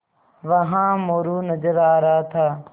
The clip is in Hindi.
वहाँ मोरू नज़र आ रहा था